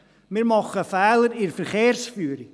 Wir machen Fehler in der Verkehrsführung.